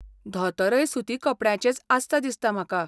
धोतरय सुती कपड्याचेंच आसता दिसता म्हाका.